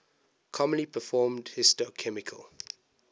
commonly performed histochemical